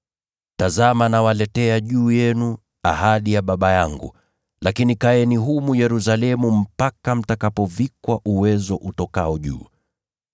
“Tazama nitawatumia ahadi ya Baba yangu; lakini kaeni humu mjini hadi mtakapovikwa uwezo utokao juu.”